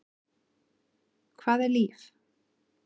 Hvað er líf?